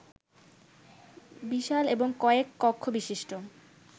বিশাল এবং কয়েক কক্ষবিশিষ্ট